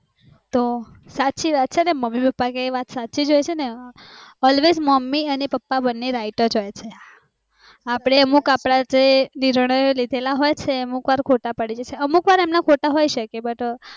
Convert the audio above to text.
તો, સાચી વાત છે મમ્મી પપ્પા કે એ વાત સચીજ હોઈ ને alwaysright મમ્મી પપ્પા જ હોઈ છે, અપડે અમુક અપડા નિર્ણય લીધ્લે હોય એ અમુક વાર ખોટા પડે અમુક વાર એમના પણ ખોટા હોઈ